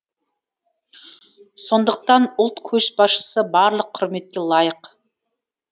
сондықтан ұлт көшбасшысы барлық құрметке лайық